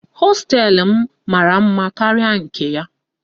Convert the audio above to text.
Hosteelụ m mara mma karịa nke ya.